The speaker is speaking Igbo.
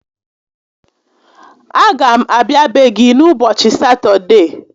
A ga m abịa be gị n'ubọchị Satọdee